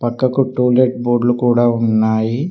పక్కకు టూలెట్ బోర్డులు లు కూడా ఉన్నాయి.